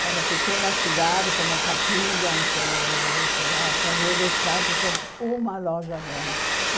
Cada pequena cidade, como Capidens ou sei lá São José dos Campos, tem uma loja grande.